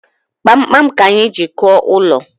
Kpamkpam ka anyi ji kụo ụlọ